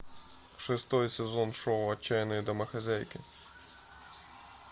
шестой сезон шоу отчаянные домохозяйки